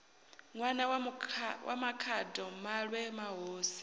ṋwana wa makhado maṋwe mahosi